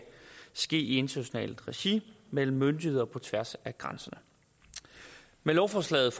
ske i internationalt regi mellem myndigheder på tværs af grænserne med lovforslaget